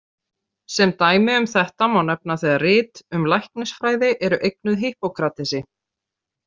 Sem dæmi um þetta má nefna þegar rit um læknisfræði eru eignuð Hippokratesi.